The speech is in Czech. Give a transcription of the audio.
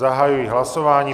Zahajuji hlasování.